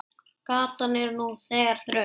Gatan er nú þegar þröng.